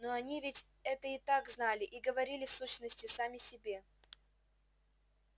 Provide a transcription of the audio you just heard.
но они ведь это и так знали и говорили в сущности сами себе